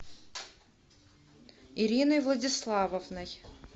ириной владиславовной